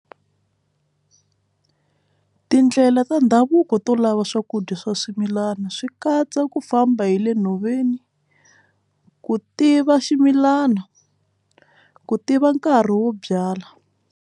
Tindlela ta ndhavuko to lava swakudya swa swimilana swi katsa ku famba hi le nhoveni ku tiva ximilana ku tiva nkarhi wo byala.